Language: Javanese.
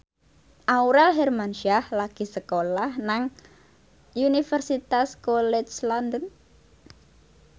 Aurel Hermansyah lagi sekolah nang Universitas College London